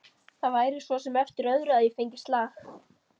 Það væri svo sem eftir öðru að ég fengi slag.